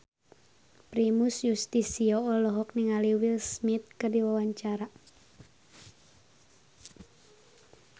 Primus Yustisio olohok ningali Will Smith keur diwawancara